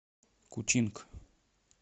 кучинг